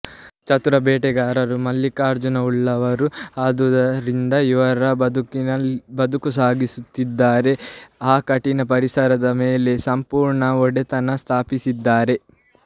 ಚತುರ ಬೇಟೆಗಾರರೂ ಮೂಲಿಕಾಜ್ಞಾನವುಳ್ಳವರೂ ಆದ್ದರಿಂದ ಇವರು ಬದುಕು ಸಾಗಿಸುತ್ತಿದ್ದಾರೆ ಆ ಕಠಿಣ ಪರಿಸರದ ಮೇಲೆ ಸಂಪೂರ್ಣ ಒಡೆತನ ಸ್ಥಾಪಿಸಿದ್ದಾರೆ